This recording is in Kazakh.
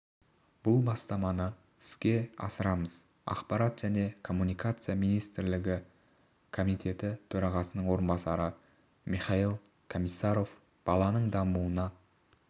бұл бастаманы іске асырамыз ақпарат және коммуникациялар министрлігі комитеті төрағасының орынбасары михаил комиссаров баланың дамуына